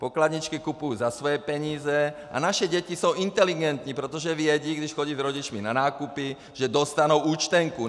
Pokladničky kupuji za svoje peníze a naše děti jsou inteligentní, protože vědí, když chodí s rodiči na nákupy, že dostanou účtenku.